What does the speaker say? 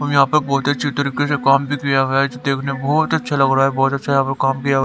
और यहां पर बहुत अच्छे तरीके से काम भी दिया हुआ है जो देखने में बहुत ही अच्छा लग रहा है।